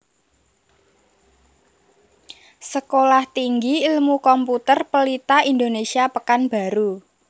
Sekolah Tinggi Ilmu Komputer Pelita Indonesia Pekanbaru